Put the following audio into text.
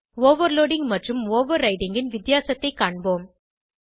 overloading மற்றும் overriding ன் வித்தியாசத்தைக் காண்போம்